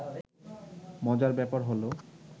মজার ব্যাপার হলো